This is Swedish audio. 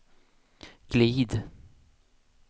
glid